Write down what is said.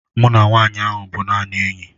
Mụ na nwanyị ahụ bụ naanị enyi